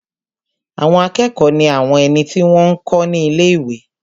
Àwọn akẹ́kọ̀ọ́ ní àwọn ẹni tí wọ́n n kọ́ ní ilé-ìwé